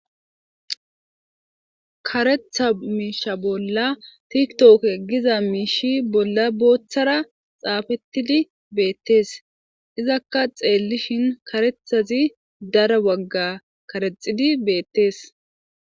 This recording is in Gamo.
Karetha miisha bolla tiktok giza miishi bolla booththara xaafettidi beettees izakka xeellishin karethazi dara wagga karexidi beettees